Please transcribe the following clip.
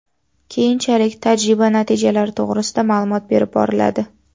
Keyinchalik tajriba natijalari to‘g‘risida ma’lumot berib boriladi.